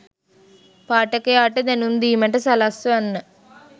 පාඨකයාට දැනුම් දීමට සලස්වන්න